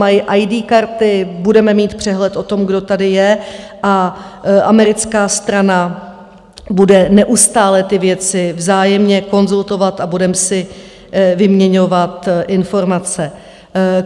Mají ID karty, budeme mít přehled o tom, kdo tady je, a americká strana bude neustále ty věci vzájemně konzultovat a budeme si vyměňovat informace.